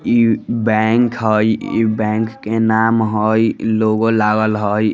इ बैंक हई इ बैंक के नाम हई इ लोगो लागल हई।